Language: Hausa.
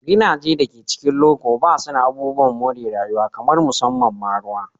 Gidajen da ke cikin loko ba su da abubuwan more rayuwa kamar musamman ma ruwa.